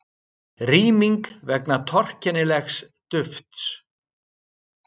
Rýming vegna torkennilegs dufts